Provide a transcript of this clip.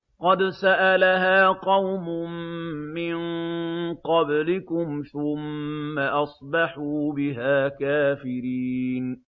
قَدْ سَأَلَهَا قَوْمٌ مِّن قَبْلِكُمْ ثُمَّ أَصْبَحُوا بِهَا كَافِرِينَ